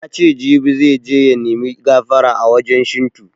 Yace jibi zai je ya nimi gafara a wajen Shinto